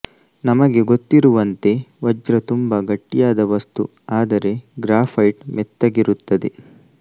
ನಮಗೆ ಗೊತ್ತಿರುವಂತೆ ವಜ್ರ ತುಂಬಾ ಗಟ್ಟಿಯಾದ ವಸ್ತು ಆದರೆ ಗ್ರ್ಯಾಫೈಟ್ ಮೆತ್ತಗಿರುತ್ತದೆ